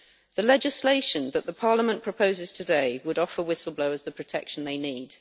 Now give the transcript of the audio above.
The legislation that Parliament proposes today would offer whistle blowers the protection they need.